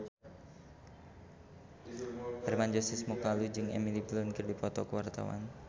Hermann Josis Mokalu jeung Emily Blunt keur dipoto ku wartawan